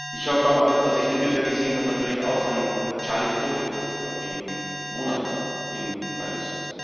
Ich habe, als ich die Bilder gesehen habe, natürlich auch an Charlie Hebdo gedacht vor wenigen Monaten in Paris.